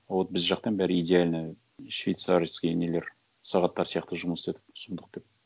вот біз жақтан бәрі идеально швейцарский нелер сағаттар сияқты жұмыс істедік сұмдық деп